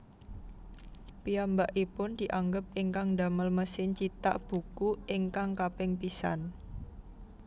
Piyambakipun dianggep ingkang ndamel mesin cithak buku ingkang kaping pisan